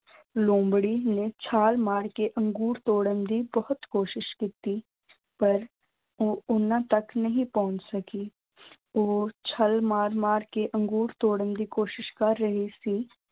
ਲੂੰਬੜੀ ਨੇ ਛਾਲ ਮਾਰ ਕੇ ਅੰਗੂਰ ਤੋੜਨ ਦੀ ਬਹੁਤ ਕੋਸ਼ਿਸ਼ ਕੀਤੀ, ਪਰ ਉਹ ਉਹਨਾਂ ਤੱਕ ਨਹੀਂ ਪਹੁੰਚ ਸਕੀ ਉਹ ਛਾਲ ਮਾਰ ਮਾਰ ਕੇ ਅੰਗੂਰ ਤੋੜਨ ਦੀ ਕੋਸ਼ਿਸ਼ ਕਰ ਰਹੀ ਸੀ।